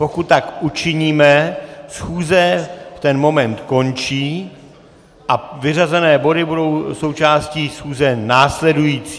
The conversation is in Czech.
Pokud tak učiníme, schůze v ten moment končí a vyřazené body budou součástí schůze následující.